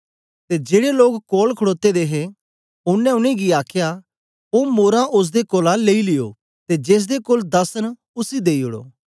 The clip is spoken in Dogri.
ते जेड़े लोक कोल खडोते दे हे ओनें उनेंगी आखया ओ मोरां ओसदे कोलां लेई लियो ते जेसदे कोल दस न उसी देई ओड़ो